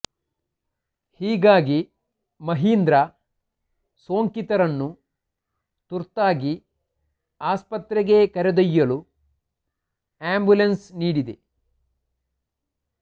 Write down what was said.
ಹೀಗಾಗಿ ಮಹೀಂದ್ರ ಸೋಂಕಿತರನ್ನು ತುರ್ತಾಗಿ ಆಸ್ಪತ್ರೆಗೆ ಕರೆದೊಯ್ಯಲು ಆ್ಯಂಬುಲೆನ್ಸ್ ನೀಡಿದೆ